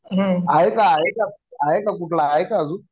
आहे का आहे का आहे का कुठला? आहे का अजून?